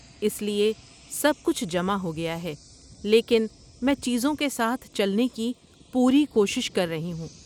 اس لیے سب کچھ جمع ہو گیا ہے، لیکن میں چیزوں کے ساتھ چلنے کی پوری کوشش کر رہی ہوں۔